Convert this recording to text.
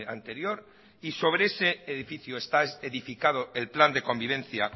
anterior y sobre ese edificio está edificado el plan de convivencia